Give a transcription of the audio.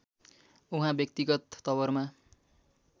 उहाँ व्यक्तिगत तवरमा